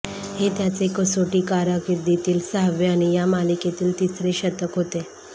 हे त्याचे कसोटी कारकिर्दीतील सहावे आणि या मालिकेतील तिसरे शतक होते